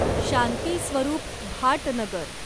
Shanti Swarup Bhatnagar